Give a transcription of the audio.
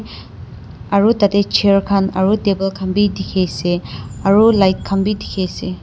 Aro tatey chair khan aro table khan bhi dekhe ase aro light khan bhi dekhe ase.